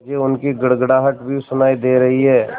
मुझे उनकी गड़गड़ाहट भी सुनाई दे रही है